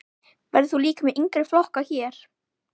Verður þú líka með yngri flokka hér?